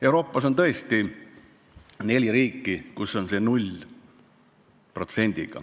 Euroopas on tõesti neli riiki, kus ravimite käibemaksu määr on 0%.